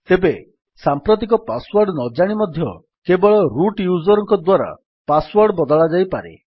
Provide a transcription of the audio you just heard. ତେବେ ସାମ୍ପ୍ରତିକ password ନଜାଣି ମଧ୍ୟ କେବଳ ରୁଟ୍ ୟୁଜର୍ ଙ୍କ ଦ୍ୱାରା ପାସ୍ ୱର୍ଡ ବଦଳାଯାଇପାରେ